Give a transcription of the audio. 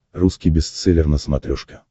русский бестселлер на смотрешке